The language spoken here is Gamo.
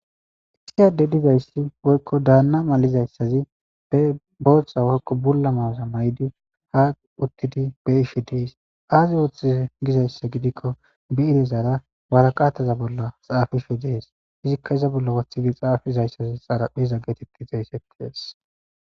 Isiyade dizayssi woykko daanna malizayssazi be boohca woykko bulla mawaza maydi haa uttidi be ishe dees aazi ooththi gizayssa gidikko bi irezara waraqattaza bolla xaafishe dees izikka iza bolla wothidi xaafizayssazi xaraphiza getikixaysseties.